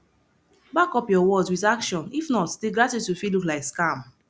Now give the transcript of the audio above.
back up your words with action if not di gratitude fit look like scam